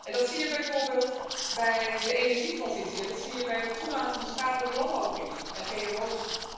Dat zie je bijvoorbeeld bij de energietransitie, en dat zie je bij het toelaten van schadelijk landbouwgif en gmo's.